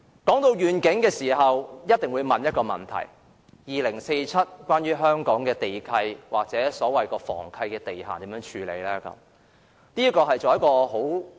談及願景，我們一定會問一個問題：香港的地契或房契地限到2047年會如何處理？